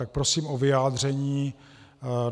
Tak prosím o vyjádření.